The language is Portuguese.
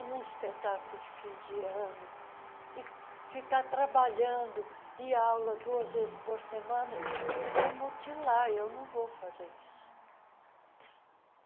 um espetáculo de fim de ano e ficar trabalhando, ir à aula duas vezes por semana, isso é mutilar e eu não vou fazer isso.